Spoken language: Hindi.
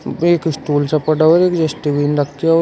एक स्टूल सा पड़ा हुआ है जो की जस्टबीन रखे हुए है।